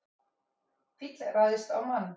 Fíll ræðst á mann